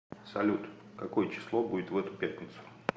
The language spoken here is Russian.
салют какое число будет в эту пятницу